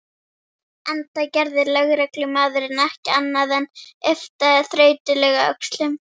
Enda gerði lögreglumaðurinn ekki annað en yppta þreytulega öxlum.